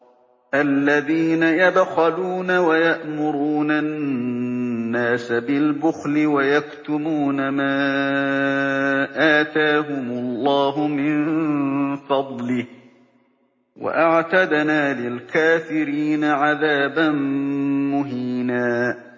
الَّذِينَ يَبْخَلُونَ وَيَأْمُرُونَ النَّاسَ بِالْبُخْلِ وَيَكْتُمُونَ مَا آتَاهُمُ اللَّهُ مِن فَضْلِهِ ۗ وَأَعْتَدْنَا لِلْكَافِرِينَ عَذَابًا مُّهِينًا